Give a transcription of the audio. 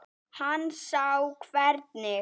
Hann sá hvernig